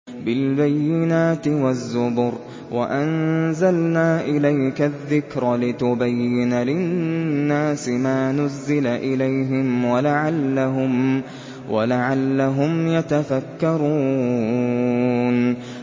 بِالْبَيِّنَاتِ وَالزُّبُرِ ۗ وَأَنزَلْنَا إِلَيْكَ الذِّكْرَ لِتُبَيِّنَ لِلنَّاسِ مَا نُزِّلَ إِلَيْهِمْ وَلَعَلَّهُمْ يَتَفَكَّرُونَ